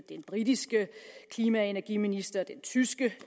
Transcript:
den britiske klima og energiminister den tyske